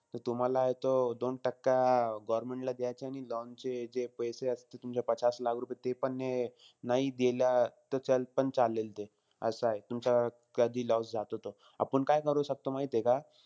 त तुम्हालाय तो दोन टक्का government ला द्यायचे. आणि loan चे जे पैसे असते तुमचे पचास लाख रुपये, तेपण हे नाई देलं तर पण चालेल ते, असंय. तुमचा कधी loss जातो तो. आपण काय करू शकतो माहितीय का?